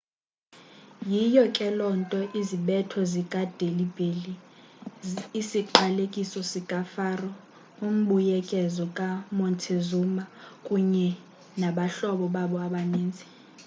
yiyo ke loo nto izibetho zikadelhi belly isiqalekiso sikafaro umbuyekezo kamontezuma kunye nabahlobo babo abaninzi